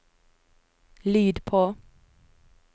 lyd på